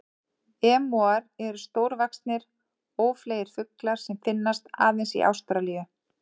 Emúar eru stórvaxnir, ófleygir fuglar sem finnast aðeins í Ástralíu.